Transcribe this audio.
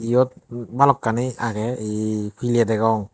iyot bhalokkani age ye pile degong.